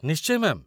ନିଶ୍ଚୟ, ମ୍ୟା'ମ୍